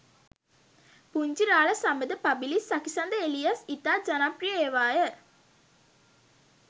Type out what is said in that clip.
පුංචි රාළ සබඳ පබිලිස් සකිසඳ එලියස් ඉතා ජනප්‍රිය ඒවාය.